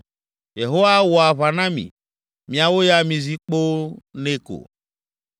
Yehowa awɔ aʋa na mi; miawo ya mizi kpoo nɛ ko.”